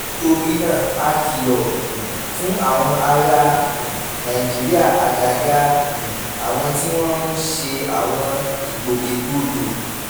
nítorí náà a kìlọ̀ um fún àwọn ará um nàìjíríà àgàgà um àwọn tí wọ́n ń ṣe àwọn ìgbòkègbodò